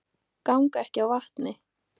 Ganga ekki á vatni